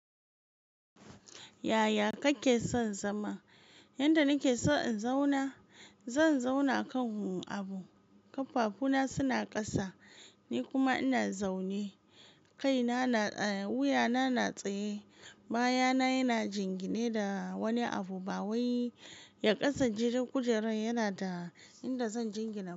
Yaya kake son zama? Yanda nake so in zauna, zan zauna kan abu, ƙafafuna suna ƙasa, ni kuma ina zaune, kaina na tsaye, wuyana na tsaye, bayana yana jingine da wani abu, bawai ya ƙasan jigin kujerar yanada, inda zan jingina.